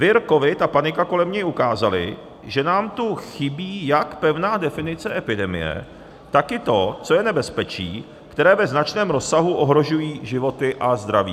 Vir covid a panika kolem něj ukázaly, že nám tu chybí jak pevná definice epidemie, tak i to, co je nebezpečí, které ve značném rozsahu ohrožuje životy a zdraví.